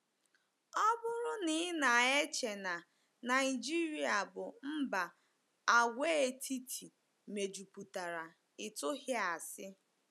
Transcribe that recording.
Ọ bụrụ na i na-eche na Naịjirịa bụ mba àgwàetiti mejupụtara, i tụghị asi.